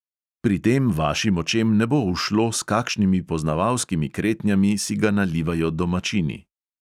Pri tem vašim očem ne bo ušlo, s kakšnimi poznavalskimi kretnjami si ga nalivajo domačini.